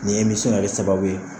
Ni yɛrɛ sababu ye